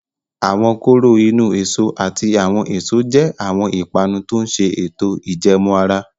Awọn koro inu-eso ati awọn eso je awọn ipanu to ǹ ṣe eto ijẹẹmu ara